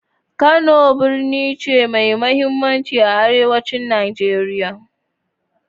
Kano birni ne mai mahimmanci a arewacin Najeriya.